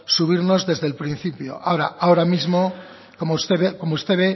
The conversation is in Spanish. subirnos desde el principio ahora mismo como usted ve